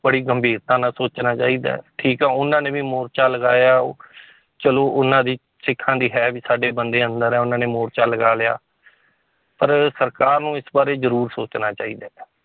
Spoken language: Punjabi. ਬੜੀ ਗੰਭੀਰਤਾ ਨਾਲ ਸੋਚਣਾ ਚਾਹੀਦਾ ਹੈ, ਠੀਕ ਹੈ ਉਹਨਾਂ ਨੇ ਵੀ ਮੋਰਚਾ ਲਗਾਇਆ ਚਲੋ ਉਹਨਾਂ ਦੀ ਸਿੱਖਾਂ ਦੀ ਹੈ ਵੀ ਸਾਡੇ ਬੰਦੇ ਅੰਦਰ ਹੈ ਉਹਨਾਂ ਨੇ ਮੋਰਚਾ ਲਗਾ ਲਿਆ ਪਰ ਸਰਕਾਰ ਨੂੰ ਇਸ ਬਾਰੇ ਜ਼ਰੂਰ ਸੋਚਣਾ ਚਾਹੀਦਾ ਹੈ